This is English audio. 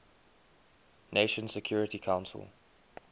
nations security council